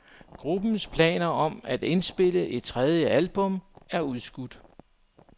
Gruppens planer om at indspille et tredje album er udskudt.